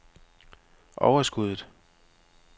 overskuddet